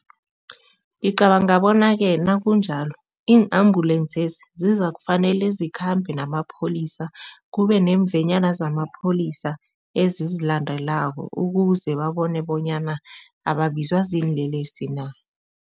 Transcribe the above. Ngicabanga bona-ke nakunjalo iin-ambulensezi zizakufanele zikhambe namapholisa, kube nemvenyana zamapholisa ezizilandelako ukuze babone bonyana ababizwa ziinlelesi na.